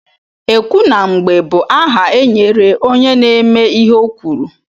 Ekwu na mgbe bụ aha e nyere onye na-eme ihe o kwuru.